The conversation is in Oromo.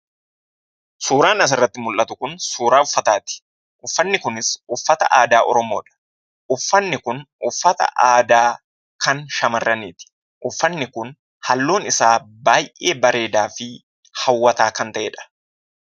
Suuraan asirratti mul'atu kun suuraa uffataati. Uffatni kunis uffata aadaa Oromoodha. Uffatni kun uffata aadaa kan shamarraniiti. Uffatni kun halluu isaa baay'ee bareedaa fi hawwataa kan ta'edha!